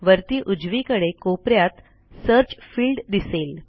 वरती उजवीकडे कोप यात सर्च फील्ड दिसेल